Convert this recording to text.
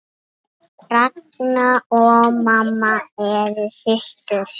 Ragna og mamma eru systur.